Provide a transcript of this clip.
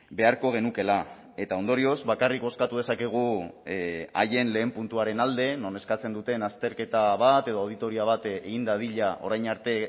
beharko genukeela eta ondorioz bakarrik bozkatu dezakegu haien lehen puntuaren alde non eskatzen duten azterketa bat edo auditoria bat egin dadila orain arte